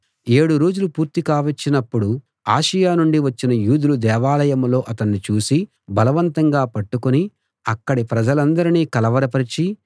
ఏడు రోజులు పూర్తి కావచ్చినప్పుడు ఆసియ నుండి వచ్చిన యూదులు దేవాలయంలో అతన్ని చూసి బలవంతంగా పట్టుకుని అక్కడి ప్రజలందరినీ కలవర పరచి